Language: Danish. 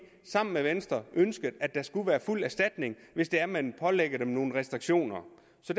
sammen med venstre ønsker at der skal være fuld erstatning hvis det er man pålægger dem nogle restriktioner